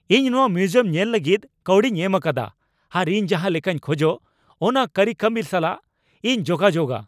ᱤᱧ ᱱᱚᱶᱟ ᱢᱤᱣᱩᱡᱤᱭᱟᱢ ᱧᱮᱞ ᱞᱟᱹᱜᱤᱫ ᱠᱟᱹᱣᱰᱤᱧ ᱮᱢ ᱟᱠᱟᱫᱟ, ᱟᱨ ᱤᱧ ᱡᱟᱦᱟᱸ ᱞᱮᱠᱟᱧ ᱠᱷᱚᱡᱚᱜ ᱚᱱᱟ ᱠᱟᱹᱨᱤᱠᱟᱹᱢᱤ ᱥᱟᱞᱟᱜ ᱤᱧ ᱡᱚᱜᱟᱡᱳᱜᱼᱟ !